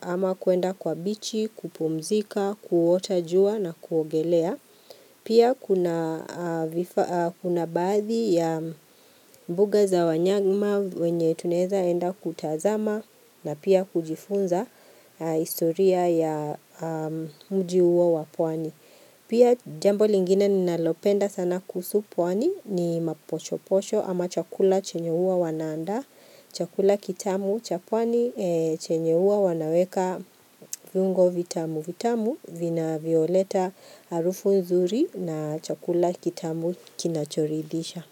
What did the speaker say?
ama kuenda kwa bichi, kupumzika, kuota jua na kuogelea. Pia kuna baadhi ya mbuga za wanyama wenye tunaeza enda kutazama na pia kujifunza historia ya mji huo wa pwani. Pia jambo lingine ninalopenda sana kuhusu pwani ni mapochopocho ama chakula chenye huwa wana andaa Chakula kitamu cha pwani chenye huwa wanaweka viungo vitamu vitamu vina vinavyoleta harufu nzuri na chakula kitamu kinachoridisha.